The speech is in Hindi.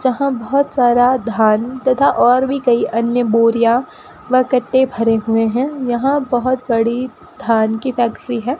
जहां बहोत सारा धान तथा और भी कई अन्य बोरियां व कट्टे भरे हुए हैं यहां बहोत बड़ी धान की फैक्ट्री है।